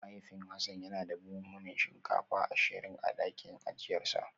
Mahaifin Hassan yana da buhunan shinkafa ashirin a dakin ajiyarsa